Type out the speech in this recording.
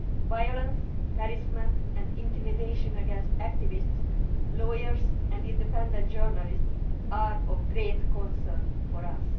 Violence, harassment and intimidation against activists, lawyers and independent journalists are of great concern to us.